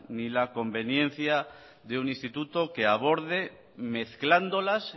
ni la conveniencia de un instituto que aborde mezclándolas